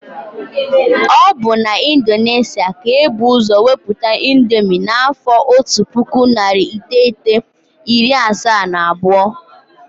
Ọ bụ na Indonesia ka ebu ụzọ weputa índomi n' afọ ọtu pụkụ narị iteghete, iri asaa na abụọ.